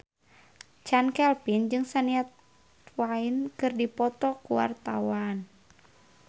Chand Kelvin jeung Shania Twain keur dipoto ku wartawan